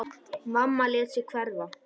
Mamma lét sig hverfa.